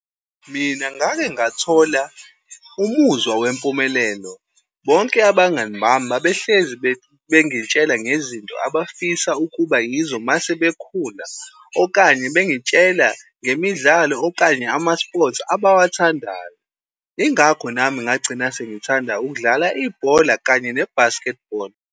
Mina ngake ngathola umuzwa wempumelelo. Bonke abangani bami babehlezi bengitshela ngezinto abafisa ukuba yizo mase bekhula, okanye bengitshela ngemidlalo, okanye ama-sports abawathandayo. Yingakho nami ngagcina sengithanda ukudlala ibhola kanye ne-basketball.